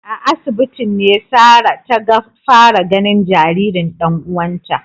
A asibitin ne Sarah taga fara ganin jaririn dan uwanta